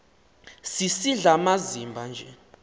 sisidl amazimba nje